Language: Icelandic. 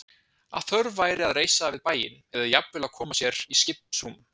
Að þörf væri að reisa við bæinn, eða jafnvel að koma sér í skipsrúm.